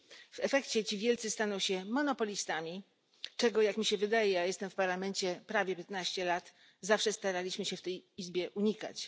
W efekcie ci wielcy staną się monopolistami, czego jak mi się wydaje, a jestem w Parlamencie prawie 15 lat, zawsze staraliśmy się w tej Izbie unikać.